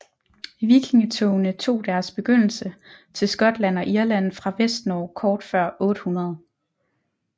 Vikingetogene tog deres begyndelse til Skotland og Irland fra Vestnorge kort før 800